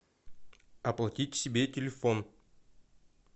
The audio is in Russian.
оплатить себе телефон